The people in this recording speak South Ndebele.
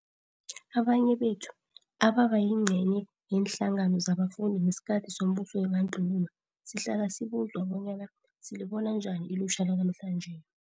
Abanye bethu abebayingcenye yeenhlangano zabafundi ngesikhathi sombuso webandlululo sihlala sibuzwa bonyana silibona njani ilutjha lanamhlanje.